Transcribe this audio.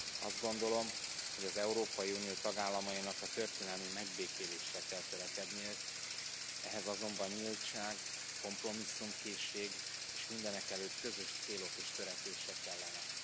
Azt gondolom, hogy az Európai Unió tagállamainak a történelmi megbékélésre kell törekedniük, ehhez azonban nyíltság, kompromisszumkészség és mindenekelőtt közös célok és törekvések kellenek.